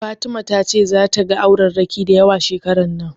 Fatima ta ce ta ga aurerraki dayawa shekaran nan